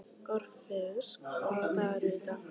Orfeus, hvaða dagur er í dag?